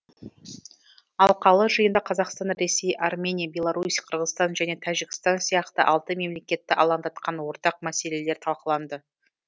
алқалы жиында қазақстан ресей армения беларусь қырғызстан және тәжікстан сияқты алты мемлекетті алаңдатқан ортақ мәселелер талқыланды